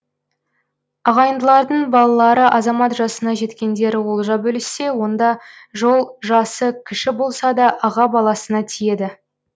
ағайындылардың балалары азамат жасына жеткендері олжа бөліссе онда жол жасы кіші болса да аға баласына тиеді